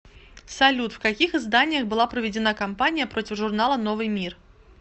салют в каких изданиях была проведена кампания против журнала новый мир